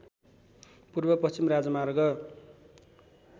पूर्व पश्चिम राजमार्ग